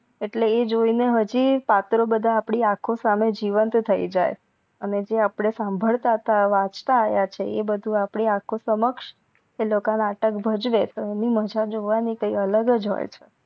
એટલે એ જોઈ ને હજી પત્રો બધા અપડી સહમે જીવંત થઈ જાય અને જે અપડે સંબદતતા વાચતા આવ્યા છે એ આપડી આખો સમક્ષ એ લોકો નાટક ભજવે એની મજા જોવાની કઈક આલગજ હોય છે.